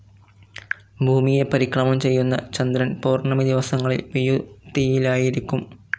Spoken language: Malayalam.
ഭൂമിയെ പരിക്രമണം ചെയ്യുന്ന ചന്ദ്രൻ പൌർണമി ദിവസങ്ങളിൽ വിയുതിയിലായിരിക്കും.